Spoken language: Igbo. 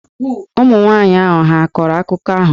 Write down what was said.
Ụmụ nwanyị ahụ hà a kọrọ akụkọ ahụ?